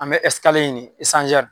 An bɛ ɲini